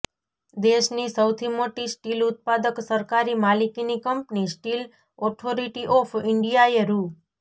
દેશની સૌથી મોટી સ્ટીલ ઉત્પાદક સરકારી માલિકીની કંપની સ્ટીલ ઓથોરિટી ઓફ ઇન્ડિયાએ રૂ